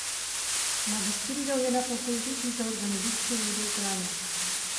Magistriral je na fakulteti za organizacijske vede v Kranju.